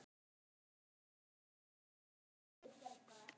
Það varð gæfa mín.